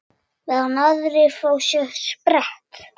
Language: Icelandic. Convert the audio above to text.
Meðan aðrir fá sér sprett?